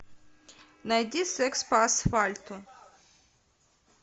найди секс по асфальту